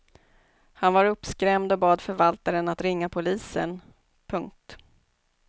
Han var uppskrämd och bad förvaltaren att ringa polisen. punkt